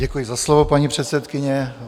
Děkuji za slovo, paní předsedkyně.